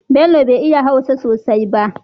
Bello be iya hausa sosai ba